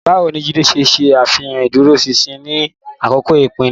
Báwo ni Jide ṣe ṣe àfihàn ìdúróṣinṣin ní àkókò ìpèníjà?